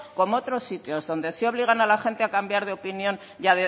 como otros sitios donde sí obligan a la gente a cambiar de opinión y